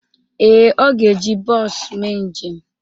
Ee, ọ ga-eji bọọsu mee njem.